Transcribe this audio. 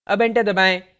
अब enter दबाएं